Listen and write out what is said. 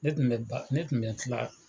Ne tun b'a, ne tun bɛ kila.